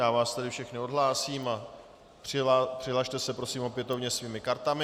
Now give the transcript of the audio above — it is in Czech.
Já vás tedy všechny odhlásím a přihlaste se tedy opětovně svými kartami.